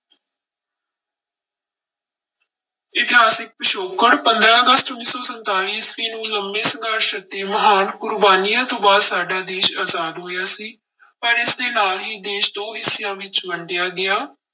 ਇਤਿਹਾਸਿਕ ਪਿਛੋਕੜ, ਪੰਦਰਾਂ ਅਗਸਤ ਉੱਨੀ ਸੌ ਸੰਤਾਲੀ ਈਸਵੀ ਨੂੰ ਲੰਬੇ ਸੰਘਰਸ਼ ਅਤੇ ਮਹਾਨ ਕੁਰਬਾਨੀਆਂ ਤੋਂ ਬਾਅਦ ਸਾਡਾ ਦੇਸ ਆਜ਼ਾਦ ਹੋਇਆ ਸੀ ਪਰ ਇਸਦੇ ਨਾਲ ਹੀ ਦੇਸ ਦੋ ਹਿੱਸਿਆਂ ਵਿੱਚ ਵੰਡਿਆ ਗਿਆ।